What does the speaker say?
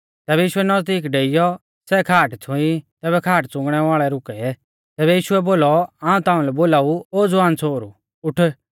तैबै यीशुऐ नज़दीक डेईयौ सै खाट छ़ुईं तैबै खाट च़ुंगणै वाल़ै रुकै तैबै यीशुऐ बोलौ हाऊं ताऊं लै बोलाऊ ओ ज़वान छ़ोहरु उठ